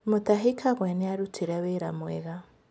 Mutahi kagwe nĩarutire wĩra wega